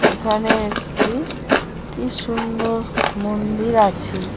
এখানে একটি কি সুন্দর মন্দির আছে।